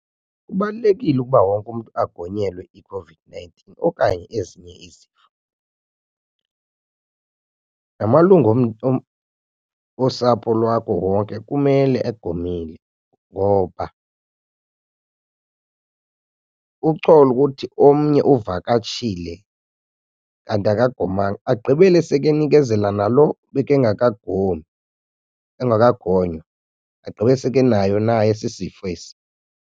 Kubalulekile ukuba wonke umntu agonyelwe iCOVID-nineteen okanye ezinye izifo. Namalungu osapho lwakho wonke kumele egomile ngoba ucole ukuthi omnye uvakatshile kanti akagomanga agqibele seke nikezela nalo bekengaka gomi, engakagonywa agqibe seke enayo naye esi sifo esi.